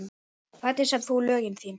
Hvernig semur þú lögin þín?